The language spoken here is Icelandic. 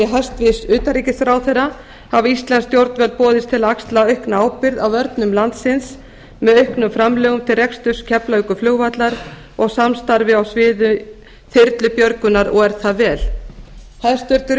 hæstvirts utanríkisráðherra hafa íslensk stjórnvöld boðist til að axla aukna ábyrgð á vörnum landsins með auknum framlögum til reksturs keflavíkurflugvallar og samstarfi á sviði þyrlubjörgunar og er það vel hæstvirts